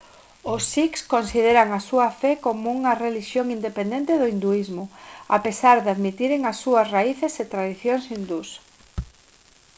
os sikhs consideran a súa fe como unha relixión independente do hinduísmo a pesar de admitiren as súas raíces e tradicións hindús